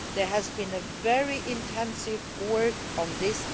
There has been very intensive work done on this.